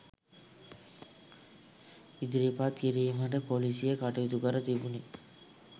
ඉදිරිපත් කිරීමට පොලීසිය කටයුතු කර තිබුණි